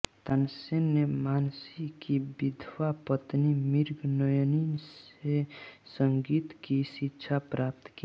तानसेन ने मानसिंह की विधवा पत्नी मृगनयनी से संगीत की शिक्षा प्राप्त की